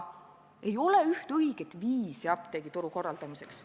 Ei ole üht õiget viisi apteegituru korraldamiseks.